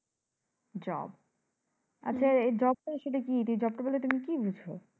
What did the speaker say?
job আচ্ছা এই job টা আসলে কি? এই job টা বলতে তুমি কি বুঝ?